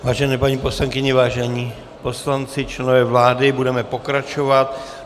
Vážené paní poslankyně, vážení poslanci, členové vlády, budeme pokračovat.